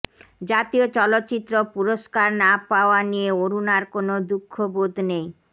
জাতীয় চলচ্চিত্র পুরস্কার না পাওয়া নিয়ে অরুণার কোনো দুঃখবোধ নেই